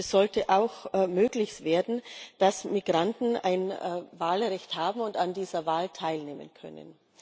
Und es sollte auch ermöglicht werden, dass Migranten ein Wahlrecht haben und an dieser Wahl teilnehmen können.